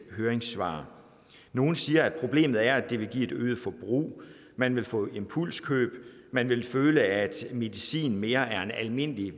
høringssvar nogle siger at problemet er at det vil give et øget forbrug man vil få impulskøb man vil føle at medicin mere er en almindelig